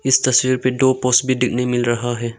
इस तस्वीर में दो पोस्पि दिन मिल रहा है।